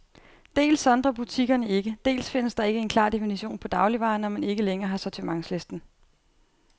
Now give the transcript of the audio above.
Dels sondrer butikkerne ikke, dels findes der ikke en klar definition på dagligvarer, når man ikke længere har sortimentslisten.